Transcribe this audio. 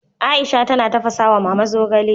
Aisha tana tafasa wa Mama zogale